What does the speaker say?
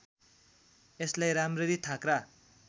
यसलाई राम्ररी थाँक्रा